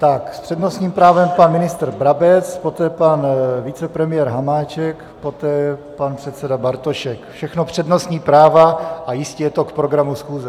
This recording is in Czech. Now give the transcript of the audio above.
Tak, s přednostním právem pan ministr Brabec, poté pan vicepremiér Hamáček, poté pan předseda Bartošek, všechno přednostní práva, a jistě je to k programu schůze.